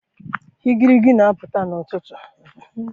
igirigi na-apụta n'ụtụtụ.